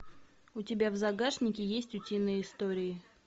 у тебя в загашнике есть утиные истории